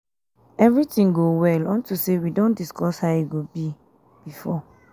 everything go well unto say we don discuss how e go be um before